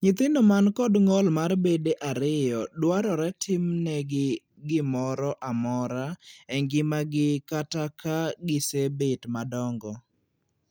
Nyithindo man kod ng'ol mar bede ariyo dwarore timnegi gimoro amora e ngimagi kata ka gisebet madongo.